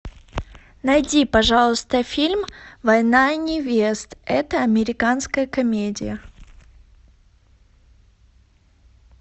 найди пожалуйста фильм война невест это американская комедия